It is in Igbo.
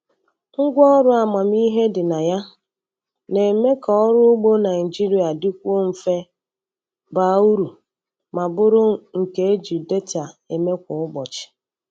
Ngwa ọrụ amamihe dị na ya na-eme ka ọrụ ugbo Naijiria dịkwuo mfe, baa uru, ma bụrụ nke e ji data eme kwa ụbọchị.